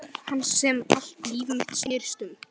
Hans sem allt líf mitt snerist um.